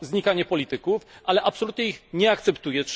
znikanie polityków, ale absolutnie ich nie akceptuję.